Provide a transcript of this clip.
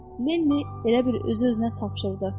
Lenni elə bil özü-özünə tapşırdı.